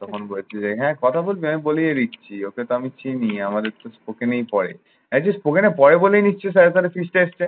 তখন বলছে যে হ্যাঁ কথা বলবি? আমি বলিয়ে দিচ্ছি। ওকে তো আমি চিনি, আমাদের তো ওখানেই পড়ে। এ just তোকে না পড়ে বলিয়ে নিচ্ছি ওর feast টা আসলে।